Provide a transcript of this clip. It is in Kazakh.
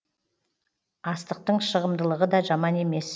астықтың шығымдылығы да жаман емес